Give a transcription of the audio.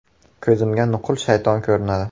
“Ko‘zimga nuqul shayton ko‘rinadi.